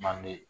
Manden